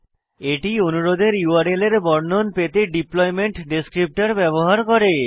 এটি অনুরোধের ইউআরএল এর বর্ণন পেতে ডিপ্লয়মেন্ট ডেসক্রিপ্টর ব্যবহার করে